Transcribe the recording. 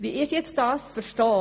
Wie ist das zu verstehen?